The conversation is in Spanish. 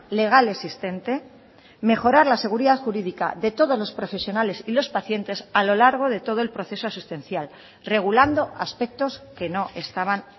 legal existente mejorar la seguridad jurídica de todos los profesionales y los pacientes a lo largo de todo el proceso asistencial regulando aspectos que no estaban